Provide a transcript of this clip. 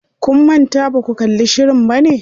Kun manta baku kalli shirin bane?